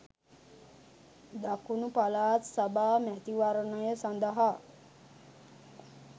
දකුණු පළාත් සභා මැතිවරණය සඳහා